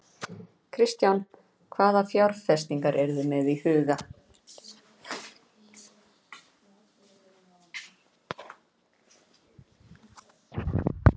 Kristján: Hvaða fjárfestingar eruð þið með í huga?